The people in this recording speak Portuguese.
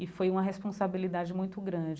E foi uma responsabilidade muito grande.